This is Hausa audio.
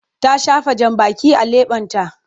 Ta shafa jambaki a leɓenta.